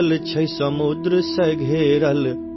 तीन दिशा समुन्द्र से घिरा